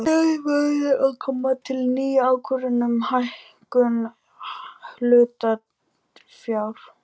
Hér verður að koma til ný ákvörðun um hækkun hlutafjár.